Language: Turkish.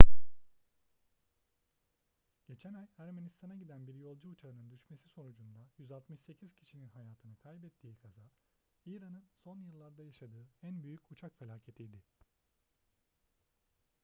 geçen ay ermenistan'a giden bir yolcu uçağının düşmesi sonucunda 168 kişinin hayatını kaybettiği kaza i̇ran'ın son yıllarda yaşadığı en büyük uçak felaketiydi